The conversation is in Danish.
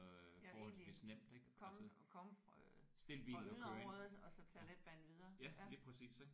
Ja egentlig komme komme øh fra yderområderne og så tage letbanen videre